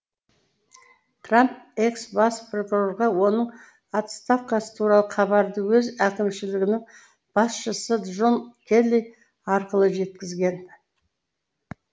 трамп экс бас прокурорға оның отставкасы туралы хабарды өз әкімшілігінің басшысы джон келли арқылы жеткізген